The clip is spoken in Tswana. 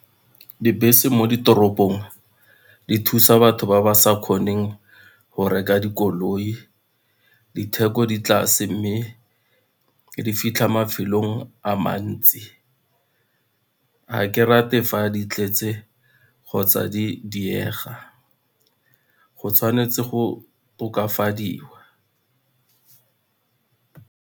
Dibese mo ditoropong di thusa batho ba ba sa kgoneng go reka dikoloi, ditheko di tlase mme di fitlha mafelong a mantsi. Ga ke rate fa di tletse kgotsa di diega, go tshwanetse go tokafadiwa.